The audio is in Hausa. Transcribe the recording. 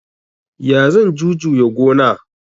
Ya zan jujuya gona?